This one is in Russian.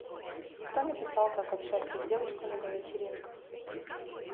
кто написал как общаться с девушками на вечеринках